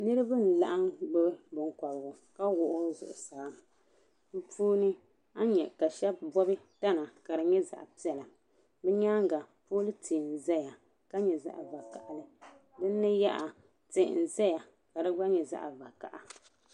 Niriba n laɣim gbubi binkɔbigu ka wuɣi o zuɣusaa bi puuni a ni yɛa ka shɛb gbubi tana ka di yɛ zaɣi piɛlla bi yɛanga poli rihi n zaya ka yɛ zaɣi vakahali sinni yaha tihi n Zaya ka di gba yɛ zaɣi vakaha.